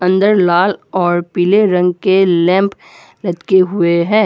अंदर लाल और पीले रंग के लैंप लटके हुए हैं।